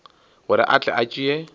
gore a tle a tšee